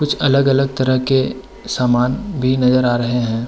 कुछ अलग-गलग तरह के सामान भी नजर आ रहे हैं।